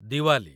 Diwali